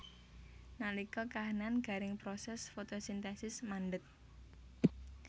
Nalika kahanan garing proses fotosintesis mandheg